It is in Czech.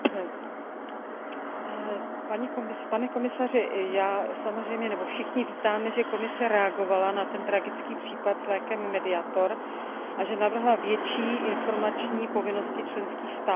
Pane komisaři, já samozřejmě, nebo všichni vítáme, že Komise reagovala na ten tragický případ s lékem Mediator a že navrhla větší informační povinnosti členských států při stahování léků z trhu.